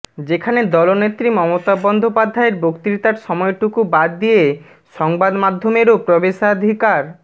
যেখানে দলনেত্রী মমতা বন্দ্যোপাধ্যায়ের বক্তৃতার সময়টুকু বাদ দিয়ে সংবাদমাধ্যমেরও প্রবেশাধিকার